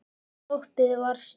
Stoppið var stutt.